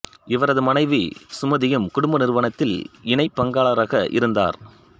இவரது மனைவி சுமதியும் குடும்ப நிறுவனத்தில் இணை பங்காளராக இருந்தார்